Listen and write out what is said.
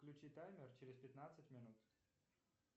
включи таймер через пятнадцать минут